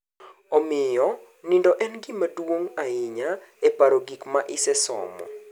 Omiyo, nindo en gima duong’ ahinya e paro gik ma isesomo.